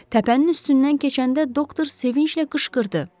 Təpənin üstündən keçəndə doktor sevinclə qışqırdı.